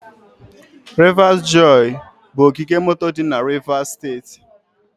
Rivers joy bụ ogige moto dị na Rivers steeti.